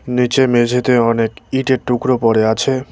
নীচে মেঝেতে অনেক ইঁটের টুকরো পড়ে আছে।